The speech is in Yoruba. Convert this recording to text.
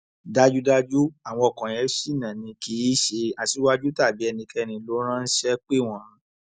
dájúdájú àwọn ọkọ yẹn ṣìnà ni kì í ṣe aṣíwájú tàbí ẹnikẹni ló ránṣẹ pè wọn